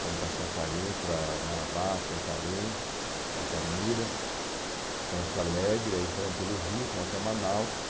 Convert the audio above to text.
Fomos para Santarém, para Marabá, Santarém, Altamira, Monte Alegre, aí entramos pelo Rio, fomos até Manaus.